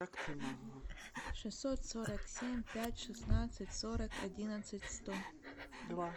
шестьсот сорок семь пять шестнадцать сорок одиннадцать сто два